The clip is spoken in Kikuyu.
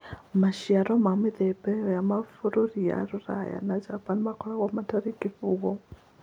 Maciaro ma mĩthemba ĩyo ya mabũrũri ma Rũraya na Japan makoragwo matariĩ ta kĩbungo.